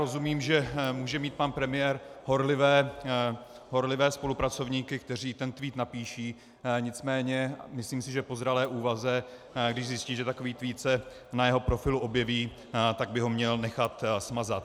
Rozumím, že může mít pan premiér horlivé spolupracovníky, kteří ten tweet napíší, nicméně myslím si, že po zralé úvaze když zjistí, že takový tweet se na jeho profilu objeví, tak by ho měl nechat smazat.